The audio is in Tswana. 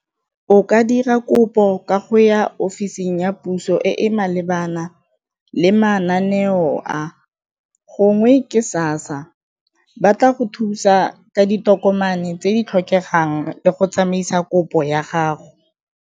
O ka dira kopo ka go ya office-ing ya puso e e malebana le mananeong a, gongwe ke SASSA ba tla go thusa ka ditokomane tse di tlhokegang le go tsamaisa kopo ya gago.